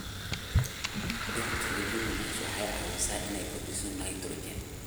Dhirta leguminous waxay caawisaa inay kordhiso nitrogen.